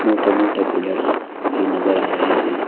मोटे मोटे पिलर्स भी नजर आ रहे हैं।